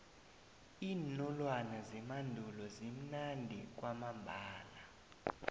iinolwana zemandulo zimnandi kwamambala